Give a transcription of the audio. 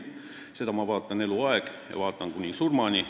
Seda ma olen vaadanud eluaeg ja vaatan kuni surmani.